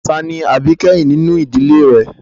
Ta ni àbíkẹ́yìn nínú ìdílé rẹ?